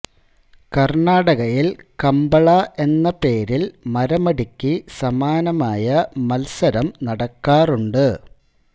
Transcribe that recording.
കർണാടകയിൽ കംബള എന്ന പേരിൽ മരമടിക്ക് സമാനമായ മത്സരം നടക്കാറുണ്ട്